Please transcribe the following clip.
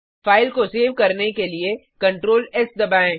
file को save करने के लिए ctrl एस दबाएँ